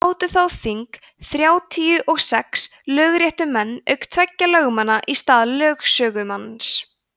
sátu þá þing þrjátíu og sex lögréttumenn auk tveggja lögmanna í stað lögsögumanns